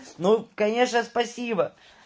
ну конечно спасибо